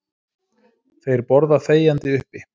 Þeir borða þegjandi uppi.